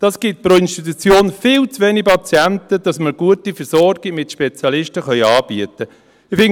Das gibt pro Institution viel zu wenig Patienten, als dass wir eine gute Versorgung mit Spezialisten anbieten könnten.